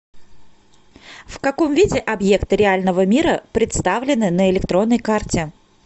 в каком виде объекты реального мира представлены на электронной карте